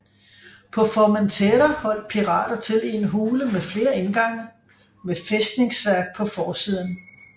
På Formentera holdt pirater til i en hule med flere indgange med fæstningsværk på forsiden